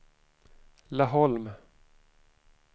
Laholm